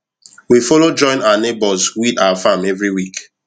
we follow join our neighbours weed our farm every week